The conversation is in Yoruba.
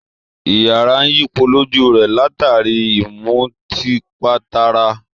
Iyàrá ń yípo lójú rẹ̀, látàrí i ìmùtípatara